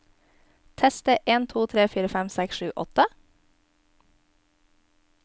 Tester en to tre fire fem seks sju åtte